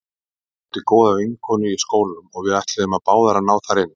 Ég átti góða vinkonu í skólanum og við ætluðum báðar að ná þar inn.